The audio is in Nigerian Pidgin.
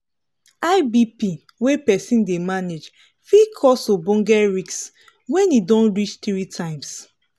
high bp wey persin dey manage fit cause ogboge risk when e don reach three times